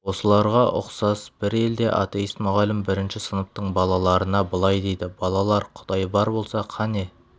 осыларға ұқсас бір елде атеист мұғалім бірінші сыныптың балаларына былай дейді балалар құдай бар болса қане